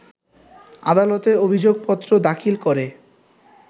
আদালতে অভিযোগপত্র দাখিল করে